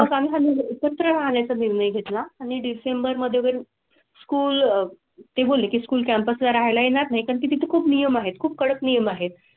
एकत्र राहण्या चा निर्णय घेतला आणि डिसेंबर मध्ये स्कूल ते बोलले की स्कूल कॅम्पस राहिला येणार नाही कारण तिथे खूप नियम आहेत. खूप कडक नियम आहेत.